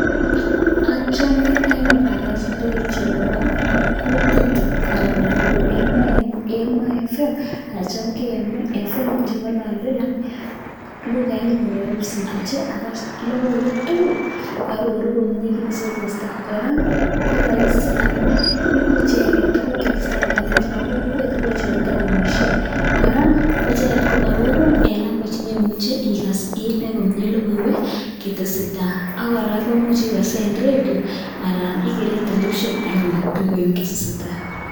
Achame anyuun akas redio nebo kutitab anan nebo emoo fm anan nebo emo fm cheng'alale lukait nyun nebo kipsigis, ak logoiwek tugul koaroru komie kit netesetai, kora koraisi amuun ibu icheket kit netesetai kong'eten chebo kokwet ak chebo taonisiek, kora koicheket koarorun en language neimue igas kotesetai ak kora komuche igasen redio anan igeren television anyun